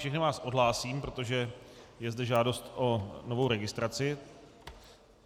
Všechny vás odhlásím, protože je zde žádost o novou registraci.